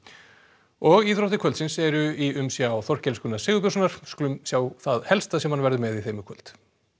og íþróttir kvöldsins eru í umsjón Þorkels Gunnar Sigurbjörnssonar skulum sjá það helsta sem hann verður með í þeim í kvöld